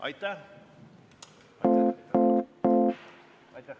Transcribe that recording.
Aitäh!